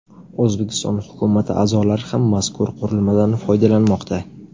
O‘zbekiston hukumati a’zolari ham mazkur qurilmadan foydalanmoqda .